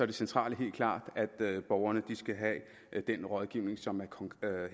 det centrale helt klart at borgerne skal have den rådgivning som er